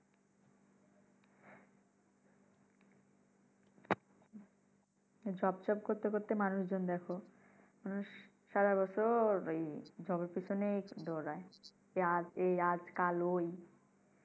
job job করতে করতে মানুষজন দেখো মানুষ সারাবছর ঐ job এর পিছনেই দৌড়ায় আজ এই কাল ঐ